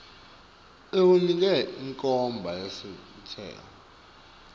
ikunike inkhomba yentsela